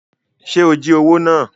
Ṣe o jí owó náà?